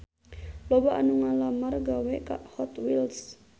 Loba anu ngalamar gawe ka Hot Wheels